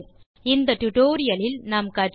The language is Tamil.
இந்த டுடோரியலில் கற்றவை